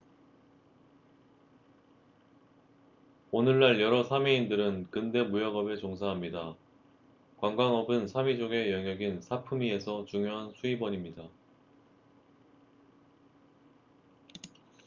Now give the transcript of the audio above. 오늘날 여러 사미인들은 근대 무역업에 종사합니다 관광업은 사미족의 영역인 사프미에서 중요한 수입원입니다